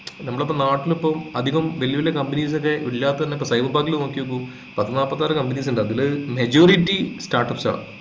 നമ്മളിപ്പോൾ നാട്ടിലിപ്പോൾ അധികം വെല്യ വെല്യ companies ഒക്കെ ഇല്ലാത്തതന്നെ ഇപ്പൊ cyber park ല് നോക്കിയപ്പോൾ പത്നാപ്പത്തിയാറു companies ഒക്കെ ഉണ്ട് അതിലിപ്പം majority start ups ആണ്